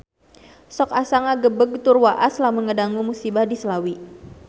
Sok asa ngagebeg tur waas lamun ngadangu musibah di Slawi